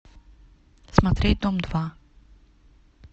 смотреть дом два